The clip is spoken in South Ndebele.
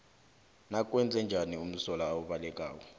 nakwenzenjani umsolwa obalekako